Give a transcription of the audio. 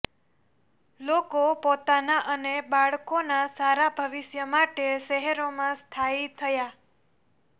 લોકો પોતાના અને બાળકોના સારા ભવિષ્ય માટે શહેરોમાં સ્થાયી થયા